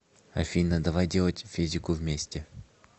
афина давай делать физику вместе